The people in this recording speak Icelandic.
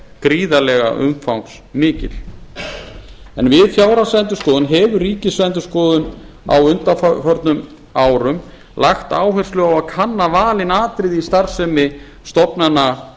gríðarlega umfangsmikill en við fjárhagsendurskoðun hefur ríkisendurskoðun á undanförnum árum lagt áherslu á að kanna valin atriði í starfsemi stofnana